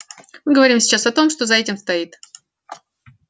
мы говорим сейчас о том что за этим стоит